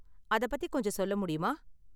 அத பத்தி கொஞ்சம் சொல்ல முடியுமா?